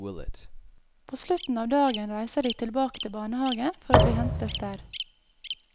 På slutten av dagen reiser de tilbake til barnehagen for å bli hentet der.